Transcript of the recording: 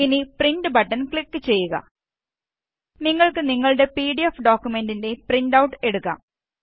ഇനി print button click ചെയ്യുക നിങ്ങള്ക്ക് നിങ്ങളുടെ പിഡിഎഫ് ഡോക്കുമെന്റിന്റേയും പ്രിന്റ് ഔട്ട് എടുക്കാം